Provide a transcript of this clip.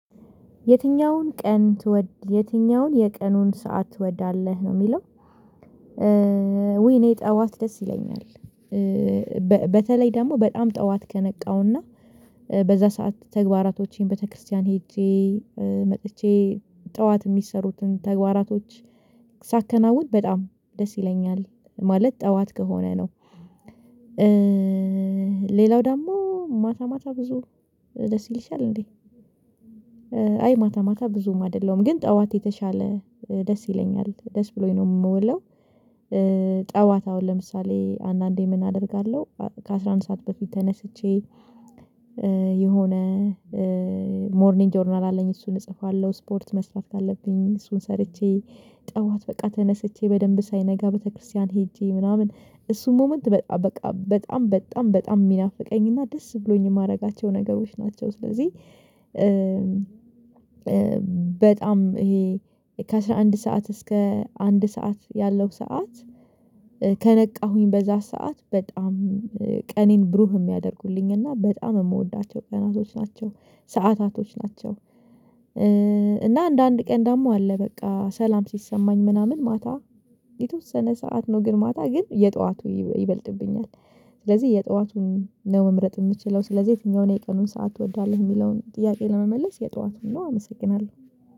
የትኛውን ቀን ትወድ የትኛውን የቀኑን ሰዓት ትወዳለህ ነው የሚለው? ውይ እኔ ጠዋት ደስ ይለኛል በተለይ ደግሞ በጣም ጠዋት ከነቃውና በዛ ሰዓት ተግባራቶቼን ቤተክርስቲያን ሄጄ መጥቼ ጠዋት የሚሰሩትን ተግባራቶች ሳከናውን በጣም ደስ ይለኛል ማለት ጠዋት ከሆነ ነው። ሌላው ደግሞ ማታ ማታ ብዙ ደስ ይልሻል እንዴ? አይ ማታ ማታ ብዙም አይደለም ግን ጠዋት የተሻለ ደስ ይለኛል ደስ ብሎኝ ነው የምወደው። ጠዋት አሁን ለምሳሌ አንዳንዴ ምን አደርጋለሁ ከአስራ አንድ ሰዓት በፊት ተነስቼ የሆነ ሞርኒንጅ ጆርናል አለኝ እሱን እጽፋለሁ ስፖርት መስራት ካለብኝ እሱን ሰርቼ ጠዋት በቃ ተነስቼ በደንብ ሳይነጋ ቤተክርስቲያን ሄጄ ምናምን እሱን ሞመንት በጣም በጣም በጣም በጣም የሚናፍቀኝና ደስ ብሎኝ የማደርጋቸው ነገሮች ናቸው። ስለዚህ በጣም ይሄ ከአስራ አንድ ሰዓት እስከ አንድ ሰዓት ያለው ሰዓት ከነቃሁኝ በዛ ሰዓት በጣም ቀኔን ብሩህ የሚያደርጉልኝ እና በጣም የምወዳቸው ቀናቶች ናቸው ሰዓታቶች ናቸው። እና አንዳንድ ቀን ደግሞ አለ በቃ ሰላም ሲሰማኝ ምናምን ማታ የተወሰነ ሰዓት ነው ግን ማታ ግን የጠዋቱ ይበልጥብኛል። ስለዚህ የጠዋቱን ነው መምረጥ የምችለው ስለዚህ የትኛውን የቀኑን ሰዓት ትወዳለህ የሚለውን ጥያቄ ለመመለስ የጠዋቱን ነው አመሰግናለሁ